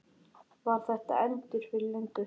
Var það endur fyrir löngu?